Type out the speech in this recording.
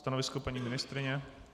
Stanovisko paní ministryně?